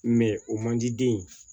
o man di den ye